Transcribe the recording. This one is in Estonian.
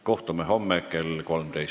Kohtume homme kell 13.